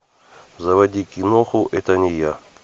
заводи киноху это не я